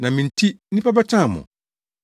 Na me nti nnipa bɛtan mo.